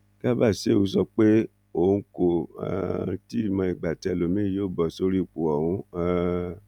garba shehu sọ pé òun kò um tí ì mọ ìgbà tí ẹlòmíín yóò bọ sórí ipò ọhún um